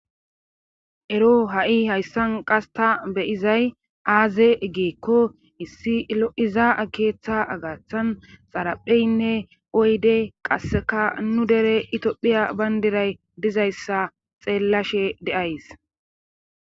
ero ha'i hayssan qas ta beyizay aaze egeekko issi lo'iza akeeththa agaththan xarapheynne oyde qasseka nu dere itiophiya bayndiray dizayssa xeellashe de'ays